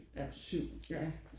7 ja